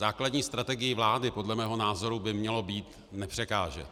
Základní strategií vlády podle mého názoru by mělo být nepřekážet.